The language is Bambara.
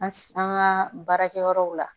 An ka baarakɛyɔrɔw la